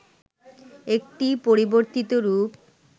একটি পরিবর্তিত রূপ